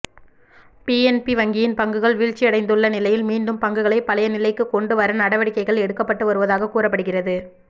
PNB வங்கியின் பங்குகள் வீழ்ச்சியடைந்துள்ள நிலையில் மீண்டும் பங்குகளை பழைய நிலைக்கு கொண்டு வர நடவடிக்கைகள் எடுக்கப்பட்டு வருவதாக கூறப்படுகிறது